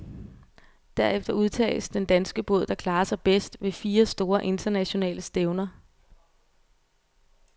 Derefter udtages den danske båd, der klarer sig bedst ved fire store, internationale stævner.